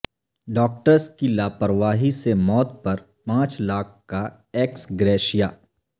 doctors کی لاپرواہی سے موت پر پانچ لاکھ کا ایکس گریشیا